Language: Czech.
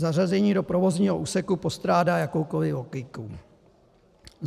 Zařazení do provozního úseku postrádá jakoukoli logiku.